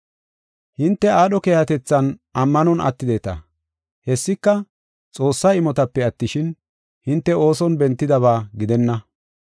Hinte aadho keehatethan ammanon attideta. Hessika, Xoossaa imotape attishin, hinte ooson bentidaba gidenna.